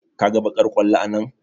Ka ga baƙar ƙwallo a nan?